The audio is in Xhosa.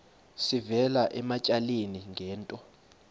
sivela ematyaleni ngento